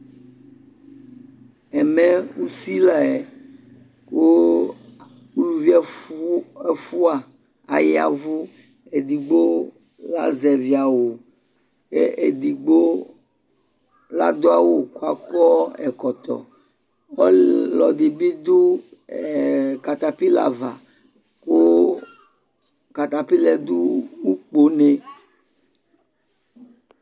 ɛmɛ usi la yɛ kò uluvi ɛfua aya vu edigbo azɛvi awu k'edigbo la do awu k'akɔ ɛkɔtɔ ɔlò ɛdi bi do katapila ava kò katapila yɛ do ukpo ne